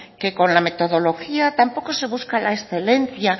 que la metodología tampoco se busca la excelencia